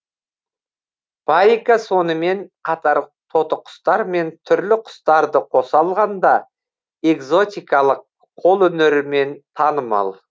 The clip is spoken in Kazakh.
парика сонымен қатар тотықұстар мен түрлі құстарды қоса алғанда экзотикалық қолөнерімен танымал